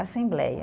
Assembleia.